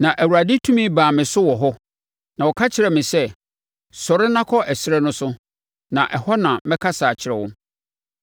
Na Awurade tumi baa me so wɔ hɔ, na ɔka kyerɛɛ me sɛ, “Sɔre na kɔ ɛserɛ no so, na ɛhɔ na mɛkasa akyerɛ wo.”